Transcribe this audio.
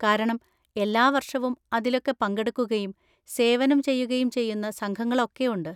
കാരണം എല്ലാ വർഷവും അതിലൊക്കെ പങ്കെടുക്കുകയും സേവനം ചെയ്യുകയും ചെയ്യുന്ന സംഘങ്ങളൊക്കെയുണ്ട്.